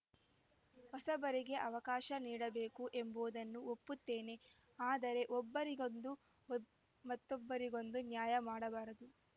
ಹೊಸಬರಿಗೆ ಅವಕಾಶ ನೀಡಬೇಕು ಎಂಬುವುದನ್ನು ಒಪ್ಪುತ್ತೇನೆ ಆದರೆ ಒಬ್ಬರಿಗೊಂದು ಮತ್ತೊಬ್ಬರಿಗೊಂದು ನ್ಯಾಯ ಮಾಡಬಾರದು